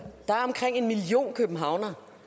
der er omkring en million københavnere